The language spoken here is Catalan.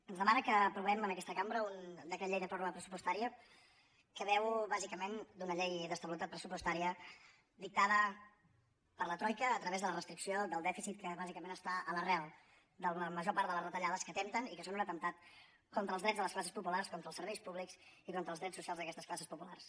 ens demana que aprovem en aquesta cambra un decret llei de pròrroga pressupostària que beu bàsicament d’una llei d’estabilitat pressupostària dictada per la troica a través de la restricció del dèficit que bàsicament està a l’arrel de la major part de les retallades que atempten i que són un atemptat contra els drets de les classes populars contra els serveis públics i contra els drets socials d’aquestes classes populars